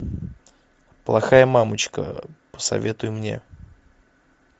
плохая мамочка посоветуй мне